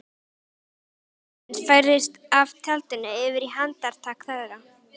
Þyngdarpunktur lífsins færðist af tjaldinu yfir í handtak þeirra.